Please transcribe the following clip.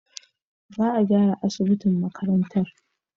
Za a gyara asibitin makarantar.